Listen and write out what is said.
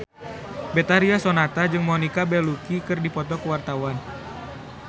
Betharia Sonata jeung Monica Belluci keur dipoto ku wartawan